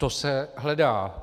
To se hledá.